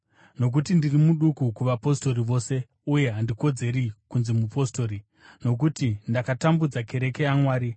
Nokuti ndiri muduku kuvapostori vose, uye handikodzeri kunzi mupostori, nokuti ndakatambudza kereke yaMwari.